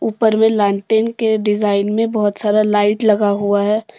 ऊपर में लालटेन के डिजाइन में बहुत सारा लाइट लगा हुआ है।